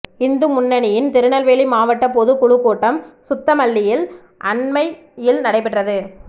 இந்து முன்னணியின் திருநெல்வேலி மாவட்ட பொதுக் குழுக் கூட்டம் சுத்தமல்லியில் அண்மையில் நடைபெற்றது